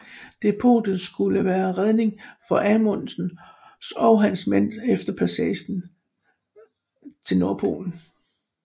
Depotet skulle være redning for Amundsens og hans mænd efter passagen af nordpolen